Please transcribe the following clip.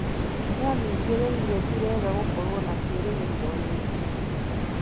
Nĩathing'ĩrĩirie ti wega gũkorwo na ciĩrĩgĩrĩro nyingĩ